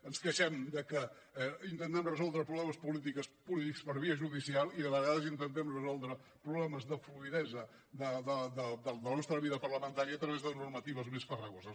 ens queixem de que intentem resoldre problemes polítics per via judicial i de vegades intentem resoldre problemes de fluïdesa de la nostra vida parlamentària a través de normatives més farragoses